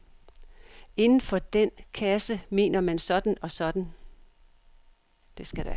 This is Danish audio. Inden for den kasse mener man sådan og sådan.